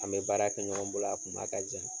An bɛ baara kɛ ɲɔgɔn bolo a kuma ka jan.